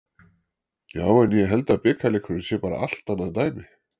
Já en ég held að bikarleikurinn sé bara allt annað dæmi.